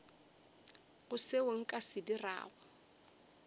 go seo nka se dirago